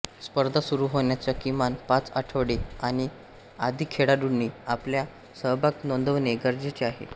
स्पर्धा सुरू होण्याच्या किमान पाच आठवडे आधी खेळाडूंनी आपला सहभाग नोंदवणे गरजेचे आहे